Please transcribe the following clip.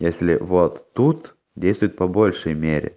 если вот тут действует по большей мере